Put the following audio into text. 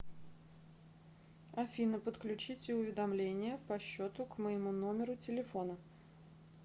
афина подключите уведомления по счету к моему номеру телефона